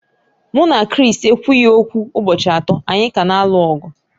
Mụ na Chris ekwughị okwu ụbọchị atọ, anyị ka na-alụ ọgụ